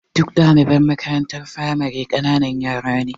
Duk ɗdaliban makarantar firamare ƙananan yara ne.